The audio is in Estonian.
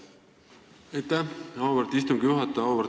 Aitäh, auväärt istungi juhataja!